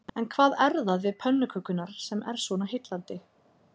En hvað er það við pönnukökurnar sem er svona heillandi?